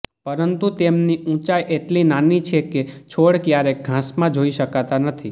પરંતુ તેમની ઊંચાઈ એટલી નાની છે કે છોડ ક્યારેક ઘાસમાં જોઇ શકાતા નથી